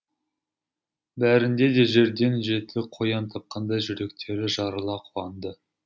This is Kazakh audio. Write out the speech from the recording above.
бәрінде де жерден жеті қоян тапқандай жүректері жарыла қуанды